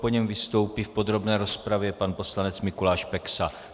Po něm vystoupí v podrobné rozpravě pan poslanec Mikuláš Peksa.